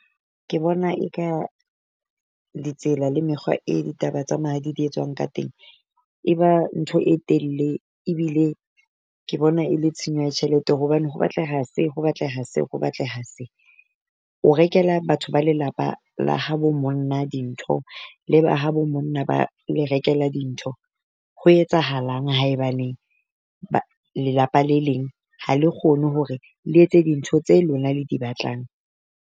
Ke bona eka letsela le mekgwa e ditaba tsa mahadi di etswang ka teng. E ba ntho e telle ebile ke bona e le tshenyo ya tjhelete, hobane ho batleha se ho batleha se, ho batleha se. O rekela batho ba lelapa la ha bo monna dintho le ba ha bo monna ba le rekela dintho. Ho etsahalang haebaneng ba lelapa le leng ha le kgone hore le etse dintho tse lona le di batlang?